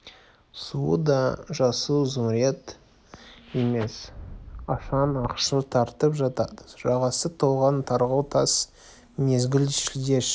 суы да жасыл зүмірет емес ашаң ақшыл тартып жатады жағасы толған тарғыл тас мезгіл шілде іші